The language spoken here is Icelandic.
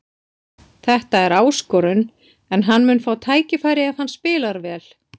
Þetta er áskorun en hann mun fá tækifæri ef hann spilar vel.